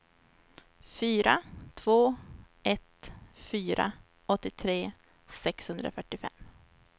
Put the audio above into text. fyra två ett fyra åttiotre sexhundrafyrtiofem